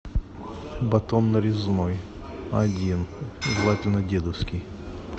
батон нарезной один желательно дедовский